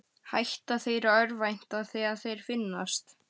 Hætta þeir að örvænta þegar þeir finnast?